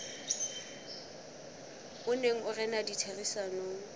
o neng o rena ditherisanong